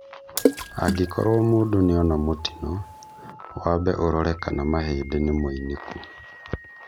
Angĩkorwo mũndũ nĩona mũtino, wambe ũrore kana mahĩndĩ nĩmoinĩku